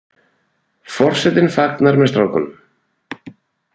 Forsetinn fagnar með strákunum